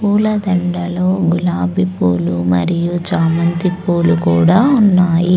పూల దండాలు గులాబీ పూలు మరియు చామంతి పూలు కూడా ఉన్నాయి.